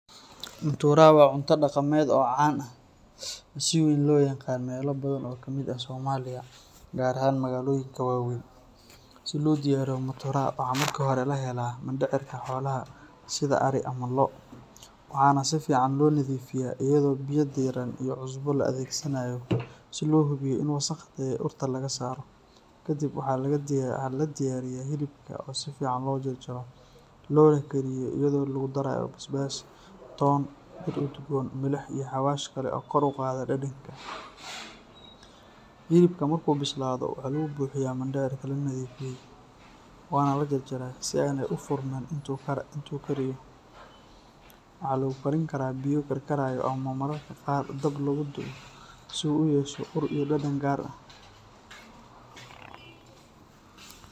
Muutura waa cunto dhaqameed caan ah oo si weyn looga yaqaan meelo badan oo ka mid ah Soomaaliya, gaar ahaan magaalooyinka waaweyn. Si loo diyaariyo muutura, waxaa marka hore la helaa mindhicirka xoolaha sida ari ama lo’, waxaana si fiican loo nadiifiyaa iyadoo biyo diirran iyo cusbo la adeegsanayo si loo hubiyo in wasakhda iyo urta laga saaro. Kadib, waxaa la diyaariyaa hilibka oo si fiican loo jarjaro loona kariyo iyadoo lagu darayo basbaas, toon, dhir udgoon, milix iyo xawaash kale oo kor u qaada dhadhanka. Hilibka markuu bislaado, waxaa lagu buuxiyaa mindhicirkii la nadiifiyay, waxaana la xiraa labada af si aanay u furmin intuu kariyo. Waxaa lagu karin karaa biyo lagu karkariyo ama mararka qaar dab lagu dubo si uu u yeesho ur iyo dhadhan gaar ah.